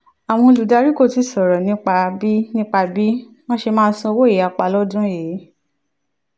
àwọn olùdarí kò tíì sọ̀rọ̀ nípa bí nípa bí wọ́n ṣe máa san owó ìyapa lọ́dún yìí.